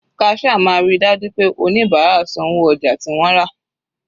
Cashier máa ríi dájú pé oníbárà san owó ojà tí wọ́n rà.